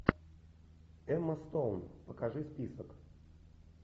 эмма стоун покажи список